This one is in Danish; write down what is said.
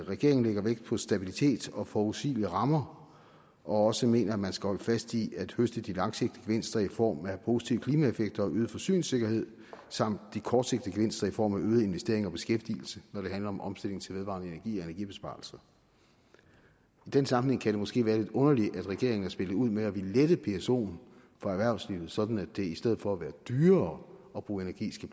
regeringen lægger vægt på stabilitet og forudsigelige rammer og også mener at man skal holde fast i at høste de langsigtede gevinster i form af positive klimaeffekter og øget forsyningssikkerhed samt de kortsigtede gevinster i form af øgede investeringer og beskæftigelse når det handler om omstilling til vedvarende energi energibesparelser i den sammenhæng kan det måske være lidt underligt at regeringen har spillet ud med at ville lette psoen for erhvervslivet sådan at det i stedet for at være dyrere at bruge energi